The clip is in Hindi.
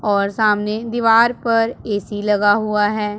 और सामने दीवार पर ए_सी लगा हुआ है।